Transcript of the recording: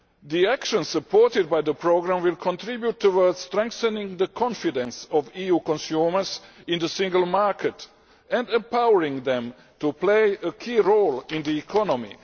The actions supported by the Programme will contribute towards strengthening the confidence of EU consumers in the single market and empowering them to play a key role in the economy.